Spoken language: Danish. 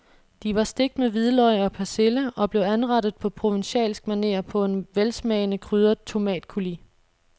De var stegt med hvidløg og persille og blev anrettet på provencalsk maner på en velsmagende krydret tomatcoulis.